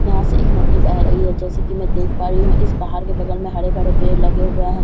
यहाँ से एक नदी बह रही है जैसा की मैं देख पा रही हूँ इस पहाड़ के बगल में हरे भरे पेड़ लगे हुए हैं।